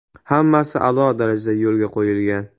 Hammasi a’lo darajada yo‘lga qo‘yilgan.